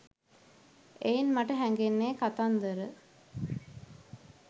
එයින් මට හැඟෙන්නේ කතන්දර